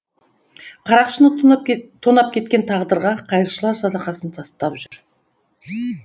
қарақшыны тонап кеткен тағдырға қайыршылар садақасын тастап жүр